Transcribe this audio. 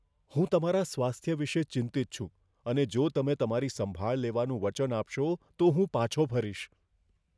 હું તમારા સ્વાસ્થ્ય વિશે ચિંતિત છું અને જો તમે તમારી સંભાળ લેવાનું વચન આપશો તો હું પાછો ફરીશ.